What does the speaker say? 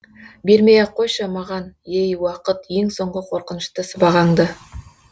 бермей ақ қойшы маған ей уақыт ең соңғы қорқынышты сыбағаңды